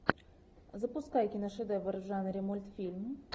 запускай киношедевр в жанре мультфильм